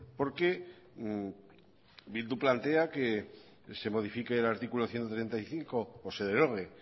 porque bildu plantea que se modifique el artículo ciento treinta y cinco o se derogue